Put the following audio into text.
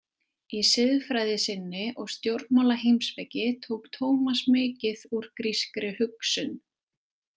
Í siðfræði sinni og stjórnmálaheimspeki tók Tómas mikið úr grískri hugsun.